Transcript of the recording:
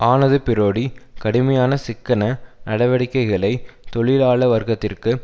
ஆனது பிரோடி கடுமையான சிக்கன நடவடிக்கைகளை தொழிலாள வர்கத்திற்கு